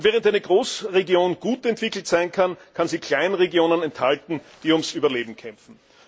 Und während eine Großregion gut entwickelt sein kann, kann sie Kleinregionen enthalten, die ums Überleben kämpfen.